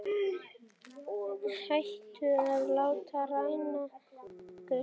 Hættum að láta ræna okkur.